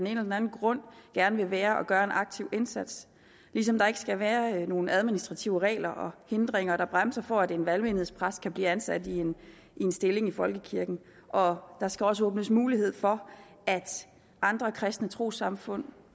eller den anden grund gerne vil være og gøre en aktiv indsats ligesom der ikke skal være nogen administrative regler og hindringer der bremser for at en valgmenighedspræst kan blive ansat i en stilling i folkekirken og der skal også åbnes mulighed for at andre kristne trossamfund